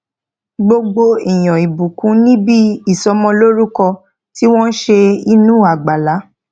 gbogbo èèyàn ìbùkún níbi ìsọmọlórúkọ tí wọn ṣe inú àgbàlá